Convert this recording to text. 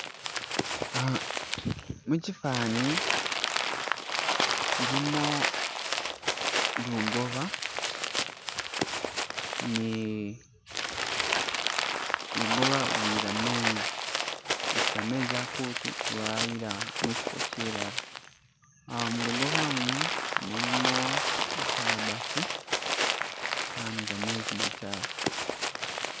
Ah mukyifani kyilimo lugoba ni- lugoba luyila mezzi lutusa mezzi akutu lwayila mukifo kilala ah- mulugoba imu mulimo i kalabati ah nigamezzi makyafu